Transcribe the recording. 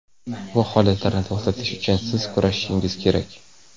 Bu holatlarni to‘xtatish uchun siz kurashishingiz kerak.